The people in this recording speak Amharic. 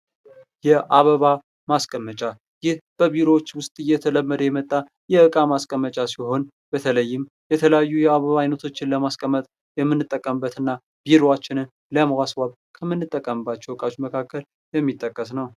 የአበባ ማስቀመጫ ይህ በቢሮዎች ውስጥ እየተለመደ የመጣ የዕቃ ማስቀመጫ ሲሆን በተለይም የተለያዩ የአበባ አይነቶች ለማስቀመጥ የምንጠቀምበት እና ቢሮአችንን ለማስዋብ ከምልንጠቀምባቸው ዕቃዎች መካከል የሚጠቀስ ነው።